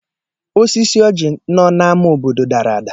Osisi ọjị nọ n'amá obodo dara ada.